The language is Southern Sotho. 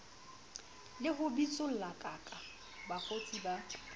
le ho bitsollakaka bakgotsi ba